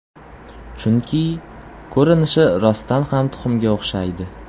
Chunki, ko‘rinishi rostdan ham tuxumga o‘xshaydi.